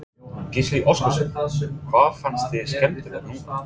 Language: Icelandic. Gísli Óskarsson: Hvað fannst þér skemmtilegt núna?